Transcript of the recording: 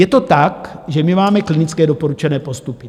Je to tak, že my máme klinické doporučené postupy.